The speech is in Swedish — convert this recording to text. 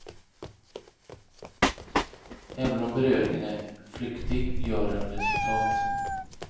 Även om beröringen är flyktig gör den resultat.